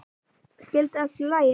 Skyldi allt í lagi?